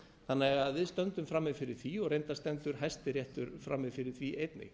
þannig að við stöndum frammi fyrir því reyndar stendur hæstiréttur frammi fyrir því einnig